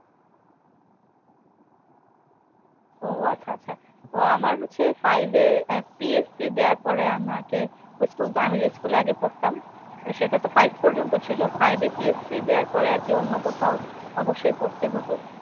ও আচ্ছা আচ্ছা তো আমার হচ্ছে five এ আহ PSC দেওয়ার পরে আমাকে ওই school তো আমি যেই school এ আগে পড়তাম তো সেটা তো five পর্যন্ত ছিল, five এ PSC দেয়ার পরে আরকি অন্য কোথাও অব্যশই পড়তে হতো